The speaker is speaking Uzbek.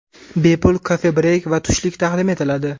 Bepul kofe-breyk va tushlik taqdim etiladi.